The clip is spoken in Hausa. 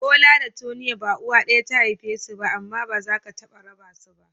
Bola da Tonia ba uwa ɗaya ta haife su ba ne amma ba za ka taɓa raba su ba.